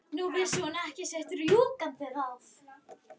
Nú vissi hún ekki sitt rjúkandi ráð.